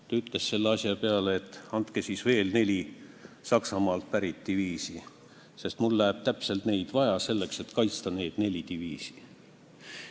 Ta ütles selle asja peale, et andke mulle siis veel neli Saksamaalt pärit diviisi ka, sest mul läheb neid vaja selleks, et kaitsta neid nelja diviisi.